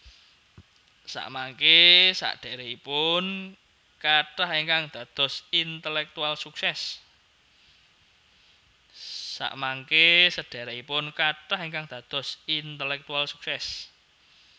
Samangké sedherekipun kathah ingkang dados intelektual sukses